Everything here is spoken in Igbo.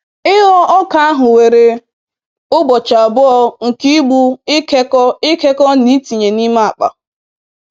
Ịghọ ọka ahụ were ụbọchị abụọ nke ịgbụ, ịkekọ, ịkekọ, na ịtinye n'ime akpa.